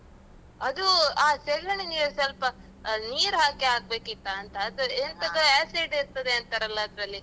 ಅದು, ಆ ಸೆಗಣಿ ನೀರ್ ಸ್ವಲ್ಪ ಆ ನೀರ್ ಹಾಕಿ ಹಾಗ್ಬೇಕಿತ್ತಾಂತ, ಅದರ್ acid ಇರ್ತದೆ ಅಂತಾರಲ್ಲ ಅದ್ರಲ್ಲಿ?